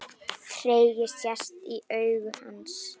Tregi sest í augu hans.